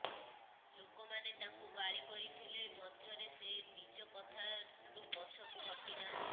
ଲୋକମାନେ ତାଙ୍କୁ ଗାଳି କରିଥିଲେ ମଧ୍ୟରେ ସେ ନିଜ କଥାରୁ ପଛକୁ ହଟି ନାହାନ୍ତି